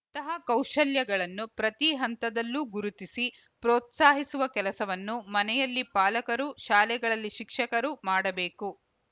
ಇಂತಹ ಕೌಶಲ್ಯಗಳನ್ನು ಪ್ರತಿ ಹಂತದಲ್ಲೂ ಗುರುತಿಸಿ ಪ್ರೋತ್ಸಾಹಿಸುವ ಕೆಲಸವನ್ನು ಮನೆಯಲ್ಲಿ ಪಾಲಕರು ಶಾಲೆಗಳಲ್ಲಿ ಶಿಕ್ಷಕರು ಮಾಡಬೇಕು